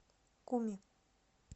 куми